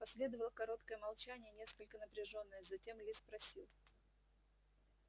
последовало короткое молчание несколько напряжённое затем ли спросил